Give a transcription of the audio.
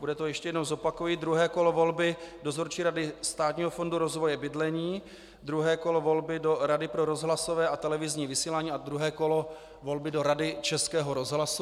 Bude to - ještě jednou zopakuji - druhé kolo volby Dozorčí rady Státního fondu rozvoje bydlení, druhé kolo volby do Rady pro rozhlasové a televizní vysílání a druhé kolo volby do Rady Českého rozhlasu.